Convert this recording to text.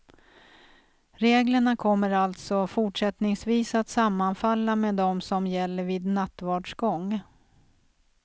Reglerna kommer alltså fortsättningsvis att sammanfalla med dem som gäller vid nattvardsgång.